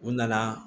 U nana